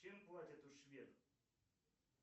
чем платят у шведов